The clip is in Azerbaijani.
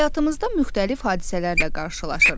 Həyatımızda müxtəlif hadisələrlə qarşılaşırıq.